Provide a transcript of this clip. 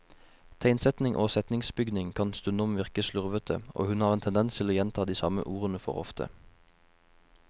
Tegnsetting og setningsbygning kan stundom virke slurvete, og hun har en tendens til å gjenta de samme ordene for ofte.